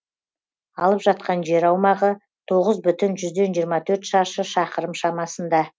алып жатқан жер аумағы тоғыз бүтін жүзден жиырма төрт шаршы шақырым шамасында